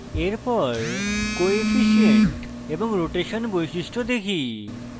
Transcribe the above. এরপর coefficient এবং rotation বৈশিষ্ট্য দেখি